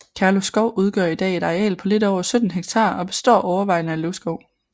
Kærlo Skov udgør i dag et areal på lidt over 17 ha og består overvejende af løvskov